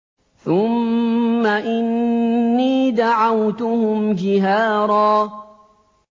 ثُمَّ إِنِّي دَعَوْتُهُمْ جِهَارًا